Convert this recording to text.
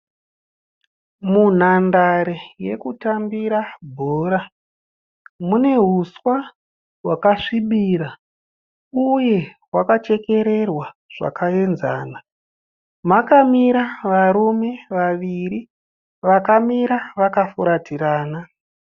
Munhandare yekutambira bhora mune huswa hwakasvibira uye hwakachekererwa zvakaenzana. Mune varume vaviri vakamira vakafuratirana.